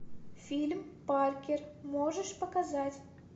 фильм паркер можешь показать